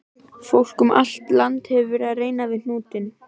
Fólk um allt land hefur verið að reyna við hnútinn.